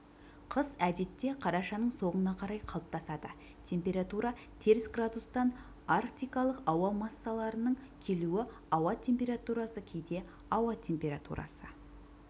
қыс әдетте қарашаның соңына қарай қалыптасады температура теріс градустан арктикалық ауа массаларының келуі ауа температурасы кейде ауа температурасы